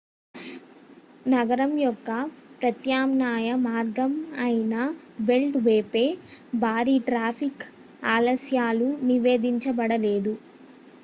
నగరం యొక్క ప్రత్యామ్నాయ మార్గం అయిన బెల్ట్ వేపై భారీ ట్రాఫిక్ ఆలస్యాలు నివేధించబడలేదు